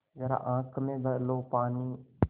ज़रा आँख में भर लो पानी